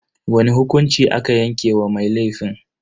Wani hukunci aka yanke wa mai laifin?